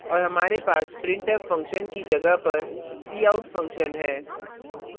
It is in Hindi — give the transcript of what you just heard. और हमारे पास printf function की जगह पर cout function है